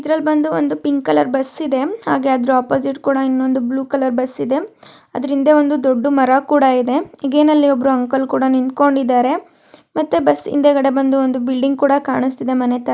ಇದರಲ್ಲಿ ಬಂದು ಒಂದು ಪಿಂಕ್ ಕಲರ್ ಬಸ್ಸಿದೆ . ಹಾಗೆ ಅದರ ಆಪೊಸಿಟ್ ಕೂಡ ಇನೊಂದು ಬ್ಲೂ ಕಲರ್ ಬಸ್ಸಿದೆ . ಅದರ ಹಿಂದೆ ಒಂದು ದೊಡ್ಡ ಮರ ಕೂಡ ಇದೆ. ಅಗೈನ್ ಅಲ್ಲಿ ಒಬ್ಬ ಅಂಕಲ್ ಕೂಡ ನಿಂತ್ಕೊಂಡಿದರೆ. ಮತ್ತೆ ಬಸ್ ಹಿಂದೆಗಡೆ ಒಂದು ಬಿಲ್ಡಿಂಗ್ ಕೂಡ ಕಾಣಿಸ್ತಿದೆ ಮನೆ ತ --